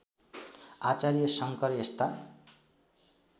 आचार्य शङ्कर यस्ता